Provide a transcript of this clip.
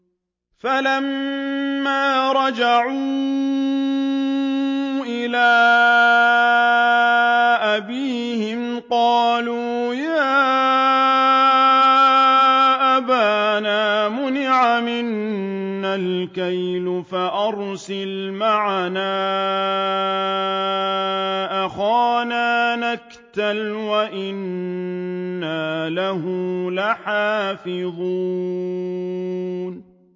فَلَمَّا رَجَعُوا إِلَىٰ أَبِيهِمْ قَالُوا يَا أَبَانَا مُنِعَ مِنَّا الْكَيْلُ فَأَرْسِلْ مَعَنَا أَخَانَا نَكْتَلْ وَإِنَّا لَهُ لَحَافِظُونَ